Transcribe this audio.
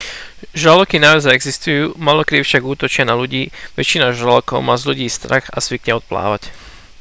žraloky naozaj existujú málokedy však útočia na ľudí väčšina žralokov má z ľudí strach a zvykne odplávať